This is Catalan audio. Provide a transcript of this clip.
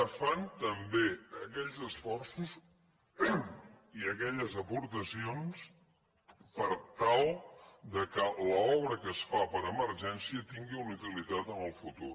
es fan també aquells esforços i aquelles aportacions per tal que l’obra que es fa per emergència tingui una utilitat en el futur